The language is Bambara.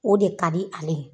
O de ka di ale ye.